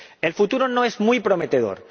El futuro no es muy prometedor.